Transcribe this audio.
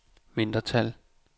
mindretal